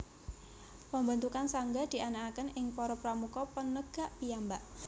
Pembentukan sangga dianakkaken ing para Pramuka Penegak piyambak